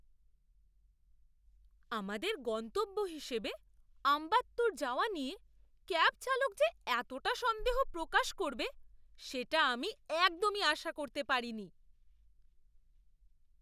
আমাদের গন্তব্য হিসেবে আম্বাত্তুর যাওয়া নিয়ে ক্যাব চালক যে এতটা সন্দেহ প্রকাশ করবে সেটা আমি একদমই আশা করতে পারিনি।